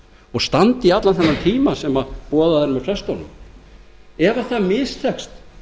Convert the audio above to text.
og standi í allan þennan tíma sem boðaður er af frestunum ef það mistekst